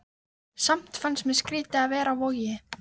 Samt fannst mér skrýtið að vera á Vogi.